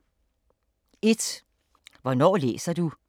1) Hvornår læser du